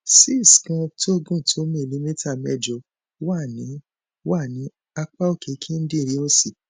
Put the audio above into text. cyst kan tó gùn tó milimita mẹjọ wà ní wà ní apá òkè kíndìnrín òsì